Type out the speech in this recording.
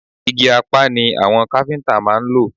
Igi Apá ni àwọn káfíntà máa ń lò.